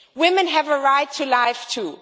Women have a right to life too.